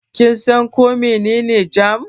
Kin san ko mene ne jam?